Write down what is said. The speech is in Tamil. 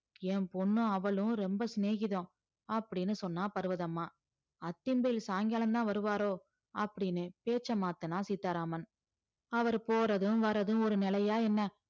என் பொண்ணும் அவளும் ரொம்ப சிநேகிதம் அப்படின்னு சொன்னா பர்வதம்மா அத்திம்பேர் சாயங்காலம்தான் வருவாரோ அப்படின்னு பேச்ச மாத்துனான் சீதாராமன் அவரு போறதும் வர்றதும் ஒரு நிலையா என்ன